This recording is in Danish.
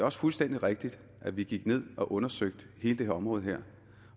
også fuldstændig rigtigt at vi gik ned og undersøgte hele det her område